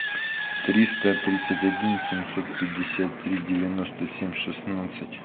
триста тридцать один семьсот пятьдесят три девяносто семь шестнадцать